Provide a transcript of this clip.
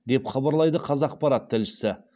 деп хабарлайды қазақпарат тілшісі